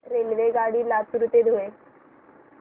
रेल्वेगाडी लातूर ते धुळे